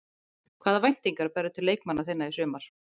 Hvaða væntingar berðu til leikmanna þinna í sumar?